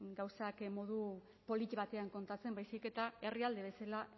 gauzak modu batean kontatzen baizik eta herrialde bezala